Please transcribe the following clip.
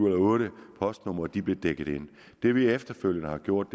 og otte postnumre blev dækket ind det vi efterfølgende har gjort